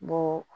Mugu